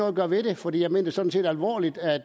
at gøre ved det for jeg mener det sådan set alvorligt